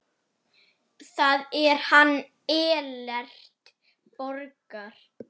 Það er hann Ellert Borgar.